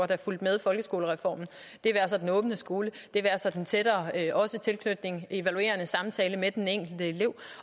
der fulgte med folkeskolereformen det være sig den åbne skole det være sig den tættere tilknytning evaluerende samtale med den enkelte elev